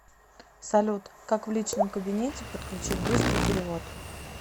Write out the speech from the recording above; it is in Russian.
салют как в личном кабинете подключить быстрый перевод